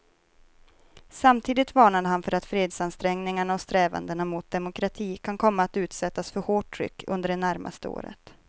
Samtidigt varnade han för att fredsansträngningarna och strävandena mot demokrati kan komma att utsättas för hårt tryck under det närmaste året.